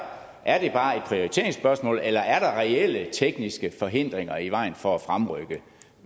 er det bare et prioriteringsspørgsmål eller er der reelle tekniske forhindringer i vejen for at fremrykke